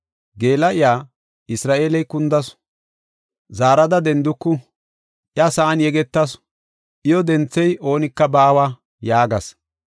“Geela7iya, Isra7eeley kundasu; zaarada denduku. Iya sa7an yegetasu; iyo denthiya oonika baawa” yaagas.